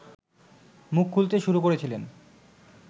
মুখ খুলতে শুরু করেছিলেন